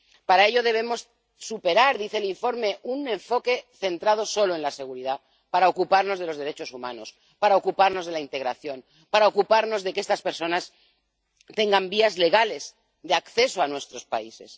Para ello debemos superar, dice el informe, un enfoque centrado solo en la seguridad para ocuparnos de los derechos humanos, para ocuparnos de la integración, para ocuparnos de que estas personas tengan vías legales de acceso a nuestros países.